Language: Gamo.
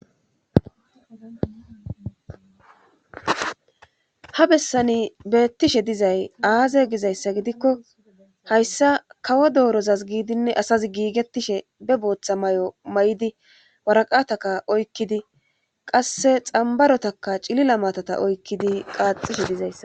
ha bessani beettishe dizay aaze gizayssa gidikko hayssa kawo doorozas giidinne asazi giigettishe be booththa may7o may7idi waraqataka oykkidi qasse xambarotaka cilila maatata oykkidi qaaxishe dizayssa